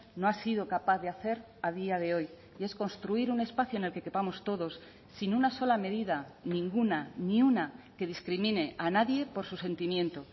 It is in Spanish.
no ha sido capaz de hacer a día de hoy y es construir un espacio en el que quepamos todos sin una sola medida ninguna ni una que discrimine a nadie por sus sentimiento